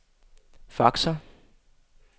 faxer